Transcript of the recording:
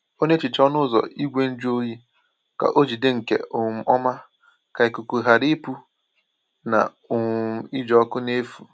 Ọ na-ehicha ọnụ ụzọ igwe njụ oyi ka ọ jide nke um ọma, ka ikuku ghara ịpụ na um iji ọkụ n’efu.